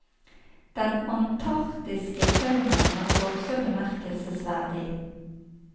Den antarktiske faunaen er også bemerkelsesverdig.